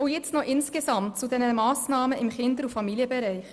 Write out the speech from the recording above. Jetzt noch ein Wort zu den Massnahmen insgesamt im Kinder- und Familienbereich: